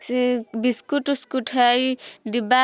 से बिस्किट उसकूट हाय डिब्बा --